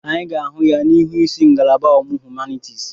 Anyị ga-ahụ ya n'ihu ịsị ngalaba ọmụmụ humanitiisi.